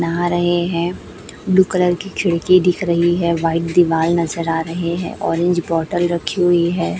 नहा रहें हैं। ब्लू कलर की खिड़की दिख रही है। व्हाइट दीवाल नजर आ रहें हैं। ऑरेंज बॉटल रखी हुई है।